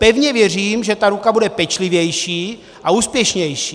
Pevně věřím, že ta ruka bude pečlivější a úspěšnější.